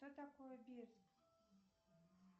что такое бирск